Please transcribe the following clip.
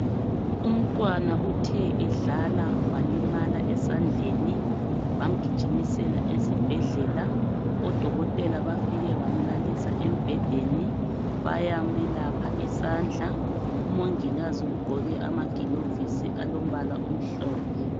Umntwana uthe edlala walimala esandleni bamgijimisela esibhedlela odokotela bafike bamalalisa embhedeni bayamelapha isandla umongikazi ugqoke amagilovisi alombala omhlophe.